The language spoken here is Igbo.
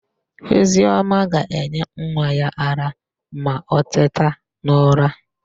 Oziọma ga-enye nwa ya ara ma o teta n'ụra.